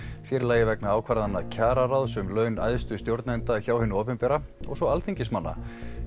sér í lagi vegna ákvarðana kjararáðs um laun æðstu stjórnenda hjá hinu opinbera og svo alþingismanna